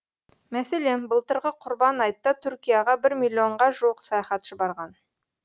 мәселен былтырғы құрбан айтта түркияға бір миллионға жуық саяхатшы барған